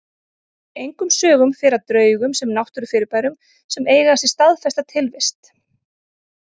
En engum sögum fer af draugum sem náttúrufyrirbærum sem eiga sér staðfesta tilvist.